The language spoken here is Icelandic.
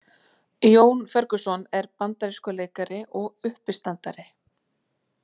Jón Ferguson er bandarískur leikari og uppistandari.